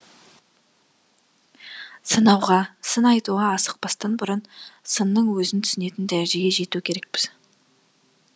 сынауға сын айтуға асықпастан бұрын сынның өзін түсінетін дәрежеге жету керекпіз